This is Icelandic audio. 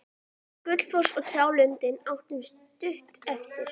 Við Gluggafoss og trjálundinn áttu stutt eftir.